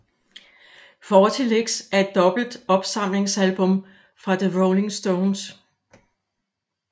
Forty Licks er et dobbelt opsamlingsalbum fra The Rolling Stones